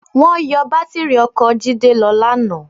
Wọ́n yọ bátìrì ọkọ̀ Jídé lọ lánàá.